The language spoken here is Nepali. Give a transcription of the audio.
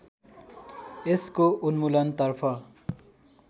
यसको उन्मूलनतर्फ